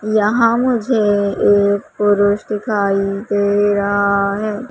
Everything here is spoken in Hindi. यहां मुझे एक पुरुष दिखाई दे रहा है।